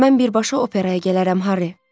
Mən birbaşa operaya gələrəm, Harri.